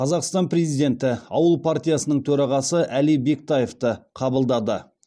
қазақстан президенті ауыл партиясының төрағасы әли бектаевты қабылдады